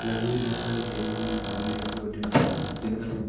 लगी हुई दिखाई दे रही है सामने की ओर दिन का दिन का--